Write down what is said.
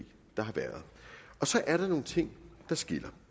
der har været og så er der nogle ting der skiller